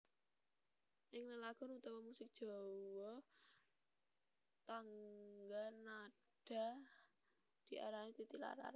Ing lelagon utawa musik Jawa tangga nada diarani titi laras